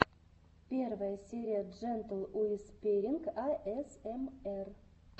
первая серия джентл уисперинг асмр